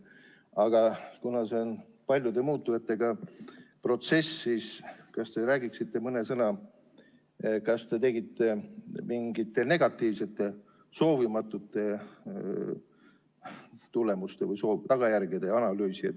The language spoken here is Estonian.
Aga kuna see on paljude muutujatega protsess, siis ehk räägiksite mõne sõna ka selle kohta, kas te tegite mingite negatiivsete, soovimatute tagajärgede analüüsi.